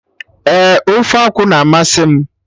Ee, ofe akwụ na amasị m